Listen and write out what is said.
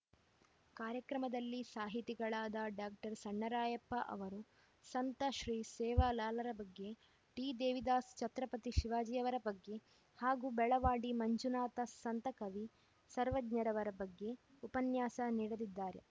ಕಾರ್ಯಕ್ರಮದಲ್ಲಿ ಸಾಹಿತಿಗಳಾದ ಡಾಕ್ಟರ್ ಸಣ್ಣರಾಮಪ್ಪ ಅವರು ಸಂತ ಶ್ರೀ ಸೇವಾಲಾಲರ ಬಗ್ಗೆ ಟಿದೇವಿದಾಸ್‌ ಛತ್ರಪತಿ ಶಿವಾಜಿಯವರ ಬಗ್ಗೆ ಹಾಗೂ ಬೆಳವಾಡಿ ಮಂಜುನಾಥ ಸಂತ ಕವಿ ಸರ್ವಜ್ಞರವರ ಬಗ್ಗೆ ಉಪನ್ಯಾಸ ನೀಡಲಿದ್ದಾರೆ